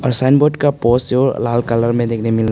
sign board का poster लाल colour में देखने मिल--